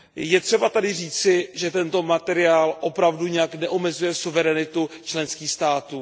Je třeba tady říci, že tento materiál opravdu nijak neomezuje suverenitu členských států.